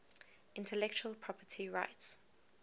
intellectual property rights